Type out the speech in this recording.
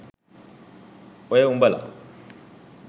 ඔය උඹල